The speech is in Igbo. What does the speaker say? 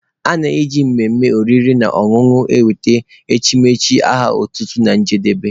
A na-eji mmemme oriri na ọṅụṅụ ewete echimechi aha otutu na njedebe